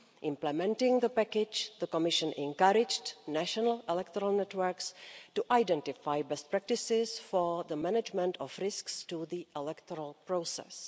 Implementing the package, the Commission encouraged national electoral networks to identify best practices for the management of risks to the electoral process.